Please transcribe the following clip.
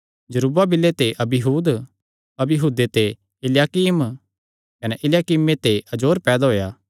जरूब्बाबिले ते अबीहूद अबीहूदे ते इल्याकीम कने इल्याकीमे ते अजोर पैदा होएया